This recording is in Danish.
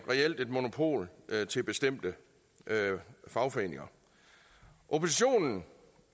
et monopol til bestemte fagforeninger oppositionen